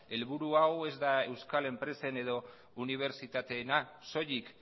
helburu hau ez da euskal enpresen edo unibertsitateena soilik